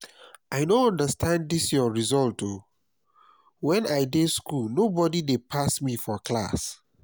i no understand dis your result oo. wen i dey school nobody dey pass me for class